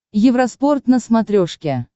евроспорт на смотрешке